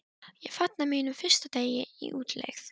Ég fagna mínum fyrsta degi í útlegð.